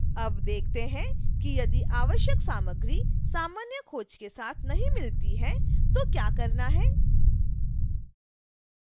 अब देखते हैं कि यदि आवश्यक सामग्री सामान्य खोज के साथ नहीं मिलती है तो क्या करना है